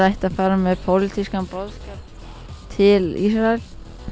ætti að fara með pólitískan boðskap til Ísraels